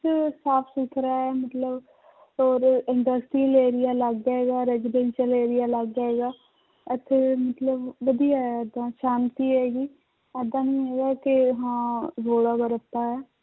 ਸਾਫ਼ ਸੁਥਰਾ ਹੈ ਮਤਲਬ ਔਰ industrial area ਅਲੱਗ ਹੈਗਾ residential area ਅਲੱਗ ਹੈਗਾ ਇੱਥੇ ਮਤਲਬ ਵਧੀਆ ਹੈ ਏਦਾਂ ਸ਼ਾਂਤੀ ਹੈਗੀ ਏਦਾਂ ਨੀ ਹੈਗਾ ਕਿ ਹਾਂ ਰੌਲਾ ਜਾਂ ਰੱਪਾ ਹੈ